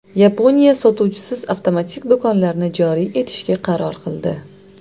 Yaponiya sotuvchisiz avtomatik do‘konlarni joriy etishga qaror qildi.